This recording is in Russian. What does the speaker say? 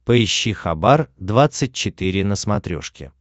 поищи хабар двадцать четыре на смотрешке